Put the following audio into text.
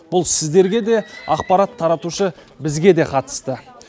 бұл сіздерге де ақпарат таратушы бізге де қатысты